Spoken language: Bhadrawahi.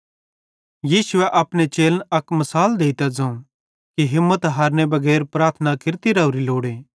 यीशु अपने चेलन अक मिसाल देइतां ज़ोवं कि हिम्मत हारनेरे बगैर प्रार्थना केरती रावरी लोड़े